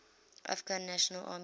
afghan national army